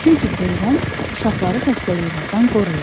Çünki peyvənd uşaqları xəstəliklərdən qoruyur.